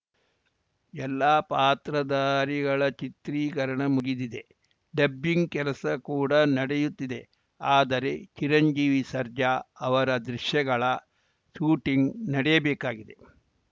ಎಲ್ಲಾ ಪಾತ್ರಧಾರಿಗಳ ಚಿತ್ರೀಕರಣ ಮುಗಿದಿದೆ ಡಬ್ಬಿಂಗ್‌ ಕೆಲಸ ಕೂಡ ನಡೆಯುತ್ತಿದೆ ಆದರೆ ಚಿರಂಜೀವಿ ಸರ್ಜಾ ಅವರ ದೃಶ್ಯಗಳ ಶೂಟಿಂಗ್‌ ನಡೆಯಬೇಕಾಗಿದೆ